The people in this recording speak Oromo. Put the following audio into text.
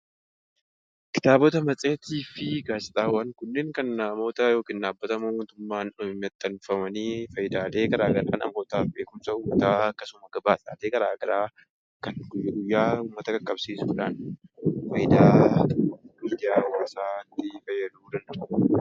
Kitaabotaa, matseetii fi gaazeexawwaan kunnen kan namoonni yookaan dhabbani motuummaan maxxaanfamani faayidalee gara garaa namoota beekumsa uummataa akkasumaas gabaasaa fi faayyidalee gara garaa kan uumataa qaqabsisuudha faayidaa midiyaa hawaasatti faayadu danda'uudha.